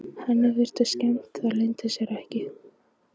Henni virðist skemmt, það leynir sér ekki.